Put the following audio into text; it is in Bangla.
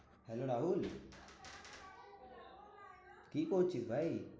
হ্যালো রাহুল, কী করছিস ভাই?